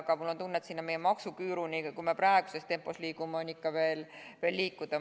Aga mul on tunne, et selle maksuküüruni on, kui me praeguses tempos liigume, ikka veel üksjagu minna.